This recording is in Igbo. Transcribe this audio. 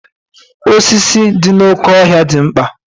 osisi dị n'oké ọhịa dị mkpa